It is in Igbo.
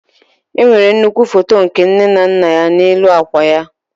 Enwere nnukwu foto nke nne na nna ya n'elu akwa ya.